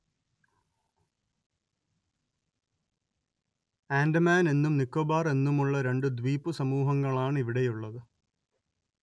ആൻഡമാൻ എന്നും നിക്കോബാർ എന്നുമുള്ള രണ്ടു ദ്വീപുസമൂഹങ്ങളാണ് ഇവിടെയുള്ളത്